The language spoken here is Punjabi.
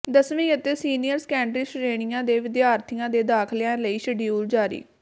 ਦਸਵੀਂ ਅਤੇ ਸੀਨੀਅਰ ਸੈਕੰਡਰੀ ਸ਼੍ਰੇਣੀਆਂ ਦੇ ਵਿਦਿਆਰਥੀਆਂ ਦੇ ਦਾਖ਼ਲਿਆਂ ਲਈ ਸ਼ਡਿਊਲ ਜਾਰੀ